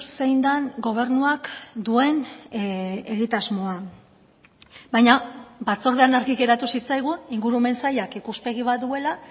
zein den gobernuak duen egitasmoa baina batzordean argi geratu zitzaigun ingurumen sailak ikuspegi bat duela